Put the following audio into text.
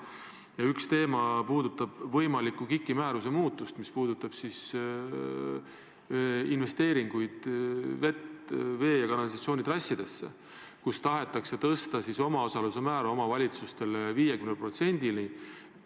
Ja üks teema puudutab võimalikku KIK-i määruse muutmist, mis puudutab siis investeeringuid vee- ja kanalisatsioonitrassidesse, kus tahetakse tõsta omavalitsuste omaosaluse määra 50%-ni.